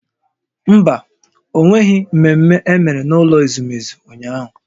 Mba, ọ nweghị mmemme emere n'ụlọ ezumezu ụnyahụ